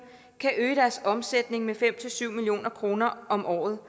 kan øge deres omsætning med fem syv million kroner om året